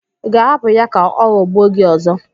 Ị ga-ahapụ ya ka ọ ghọgbuo gị ọzọ?